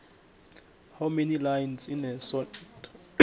how many lines in a sonnet